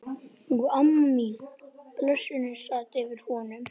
Og amma mín, blessunin, sat yfir honum.